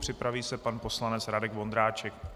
Připraví se pan poslanec Radek Vondráček.